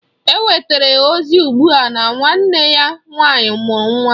Enwetara ozi ugbua na nwanne ya nwanyị mụrụ nwa